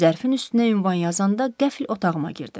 Zərfin üstünə ünvan yazanda qəfil otağıma girdi.